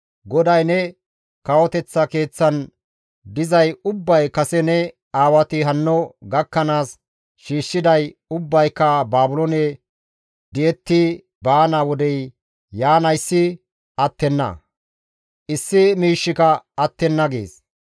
GODAY, ‹Ne kawoteththa keeththan dizay ubbay kase ne aawati hanno gakkanaas shiishshiday ubbayka Baabiloone di7etti baana wodey yaanayssi attenna; issi miishshika attenna› gees.